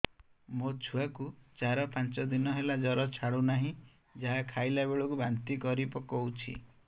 ମୋ ଛୁଆ କୁ ଚାର ପାଞ୍ଚ ଦିନ ହେଲା ଜର ଛାଡୁ ନାହିଁ ଯାହା ଖାଇଲା ବେଳକୁ ବାନ୍ତି କରି ପକଉଛି